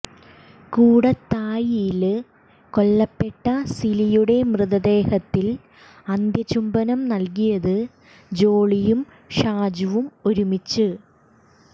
കൂടത്തായിയില് കൊല്ലപ്പെട്ട സിലിയുടെ മൃതദേഹത്തിൽ അന്ത്യചുംബനം നൽകിയത് ജോളിയും ഷാജുവും ഒരുമിച്ച്